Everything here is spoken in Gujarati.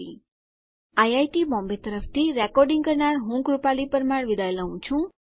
આઈઆઈટી બોમ્બે તરફથી સ્પોકન ટ્યુટોરીયલ પ્રોજેક્ટ માટે ભાષાંતર કરનાર હું જ્યોતી સોલંકી વિદાય લઉં છું